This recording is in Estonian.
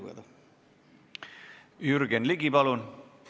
Aitäh!